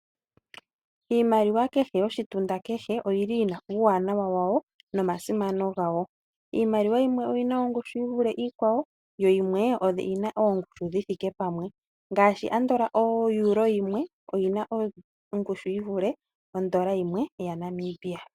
Iimaliwa kehe yoshitunda kehe oyili yina uuwanawa wawo nomasimano gawo. Iimaliwa yimwe oyina ongushu yivule iikwawo, yo yimwe oyina ongushu dhithike pamwe. Ngaashi andola oEuro yimwe oyina ongushu yivule ondola yimwe yaNamibia.